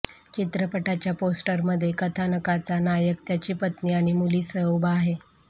चित्रपटाच्या पोस्टरमध्ये कथानकाचा नायक त्याची पत्नी आणि मुलीसह उभा आहे